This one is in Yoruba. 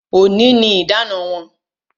Òní ni idana wọn